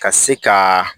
Ka se ka